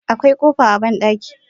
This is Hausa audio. Akwai kofa a bandaki.